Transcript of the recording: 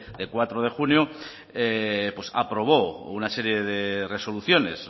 de cuatro de junio aprobó una serie de resoluciones